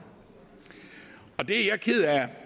det er jeg ked af